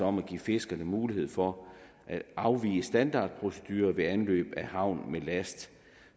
om at give fiskerne mulighed for at afvige standardprocedurer ved anløb af havn med last